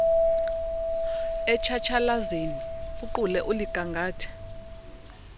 etshatshalazeni uqule uligangathe